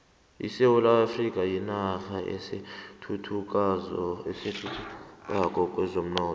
isewula afrika yinarha esathuthukako kwezomnotho